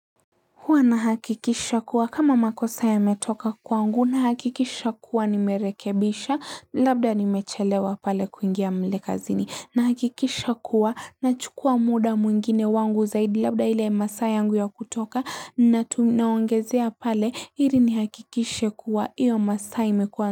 Huwa nahakikisha kuwa kama makosa yametoka kwangu nahakikisha kuwa nimerekebisha labda nimechelewa pale kuingia mleka zini na hakikisha kuwa nachukua muda mwingine wangu zaidi labda ile masaa yangu ya kutoka na naongezea pale ili nihakikishe kuwa iyo masaa imekuwa.